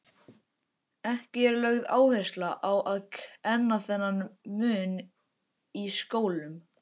Ekki er lögð áhersla á að kenna þennan mun í skólum.